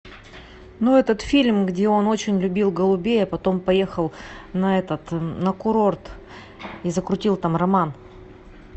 ну этот фильм где он очень любил голубей а потом поехал на этот на курорт и закрутил там роман